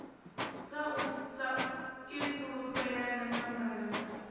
sa ifulufhela na samba ḽa